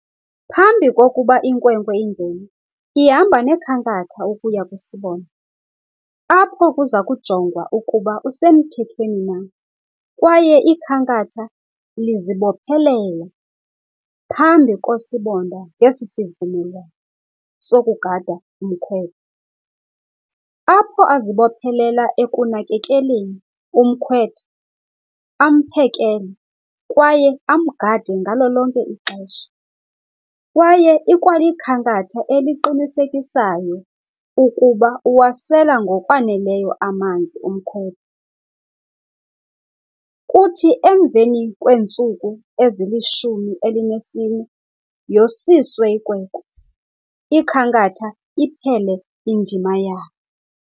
Phambi kokuba inkwenkwe ingene ihamba nekhankatha ukuya kusibonda apho kuza kujongwa ukuba usemthethweni na, kwaye ikhankatha lizibophelela phambi kosibonda ngesi sivumelwano sokugada umkhwetha. Apho azibophelela ekunakekeleni umkhwetha, amphekele, kwaye amgade ngalo lonke ixesha. Kwaye ikwalikhankatha eliqinisekisayo ukuba uwasela ngokwaneleyo amanzi umkhwetha. Kuthi emveni kweentsuku ezilishumi elinesine yosiswe inkwenkwe, ikhankatha iphele indima yalo.